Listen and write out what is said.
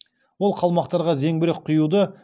ол қалмақтарға зеңбірек құюды